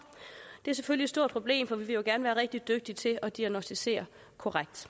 det er selvfølgelig et stort problem for vi vil jo gerne være rigtig dygtige til at diagnosticere korrekt